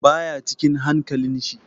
Baya cikin hankalin shi.